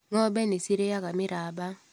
Ngombe nĩcirĩaga mĩramba.